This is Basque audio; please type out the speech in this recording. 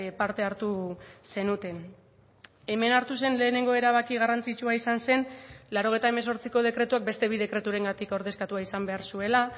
parte hartu zenuten hemen hartu zen lehenengo erabaki garrantzitsua izan zen laurogeita hemezortziko dekretuak beste bi dekreturengatik ordezkatua izan behar zuela